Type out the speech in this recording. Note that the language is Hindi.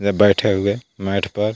इधर बैठे हुए मैट पर--